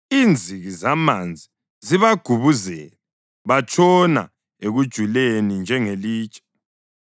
Inziki zamanzi zibagubuzele; batshona ekujuleni njengelitshe.